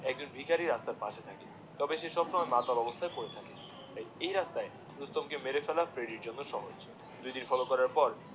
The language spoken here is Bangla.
একজন ভিকারী রাস্তার পশে থাকে তবে সে নয় মাতাল অবস্থায় পরে থাকে এই রাস্তায় রুস্তম কে মেরে ফেলা ফ্রেডির জন্যে সহজ দু দিন ফলো করার পর